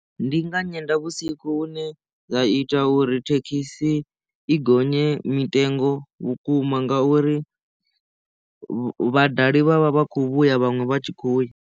Ndi nga nyendavhusiku hune zwa ita uri thekhisi i gonye mitengo vhukuma nga uri vhadali vhavha vha khou vhuya vhaṅwe vha tshi khou ya.